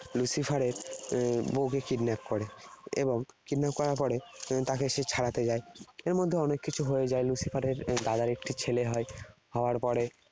Lucifer এর বউ কে kidnap করে। এবং kidnap করার পরে এর তাকে সে ছাড়াতে যায়। এর মধ্যে অনেক কিছু হয়ে যায়। Lucifer এর দাদার একটি ছেলে হয়। হওয়ার পরে